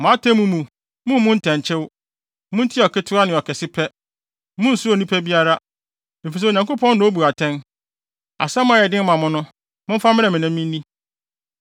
Mo atemmu mu, mummmu ntɛnkyew. Muntie ɔketewa ne ɔkɛse pɛ. Munnsuro onipa biara, efisɛ Onyankopɔn na obu atɛn. Asɛm a ɛyɛ den ma mo no, momfa mmrɛ me na minni.”